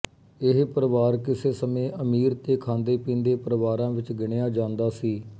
ਇਹ ਪਰਿਵਾਰ ਕਿਸੇ ਸਮੇਂ ਅਮੀਰ ਤੇ ਖਾਂਦੇਪੀਂਦੇ ਪਰਿਵਾਰਾਂ ਵਿਚ ਗਿਣਿਆ ਜਾਦਾ ਸੀ